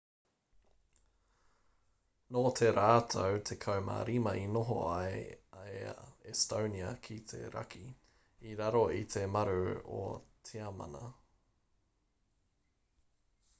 nō te rautau 15 i noho ai a estonia ki te raki i raro i te maru o tiamana